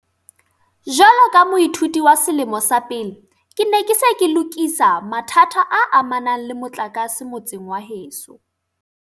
"Jwalo ka moithuti wa selemo sa pele, ke ne ke se ke lokisa mathata a amanang le motlakase motseng wa heso."